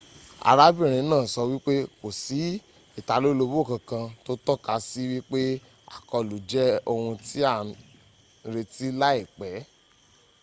arábìnrin náà sọ wípé kò sí ìtalólobó kankan tó tọ́ka sí wípé àkọlù jẹ ohun ti à ń retí láìpẹ́